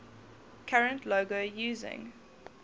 current logo using